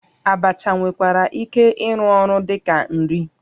Abacha nwekwara ịrụ ọrụ dị ka nri